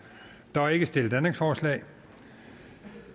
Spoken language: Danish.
der er ikke stillet ændringsforslag